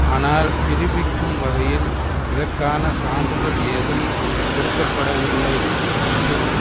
ஆனால் நிரூபிக்கும் வகையில் இதற்கான சான்றுகள் ஏதும் கொடுக்க படவில்லை மற்றும்